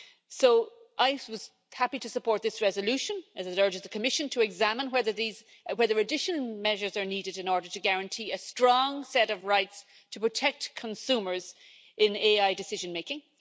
So I was happy to support this resolution, as it urges the Commission to examine whether additional measures are needed in order to guarantee a strong set of rights to protect consumers in AI decision making